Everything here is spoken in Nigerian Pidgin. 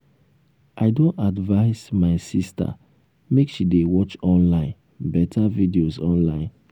i don advice um my sister make she dey watch online um beta videos online